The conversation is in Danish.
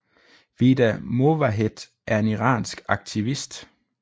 Vida Movahed er en iransk aktivist